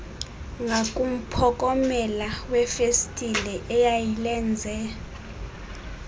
ngakumphokomela wefestile eyayilenze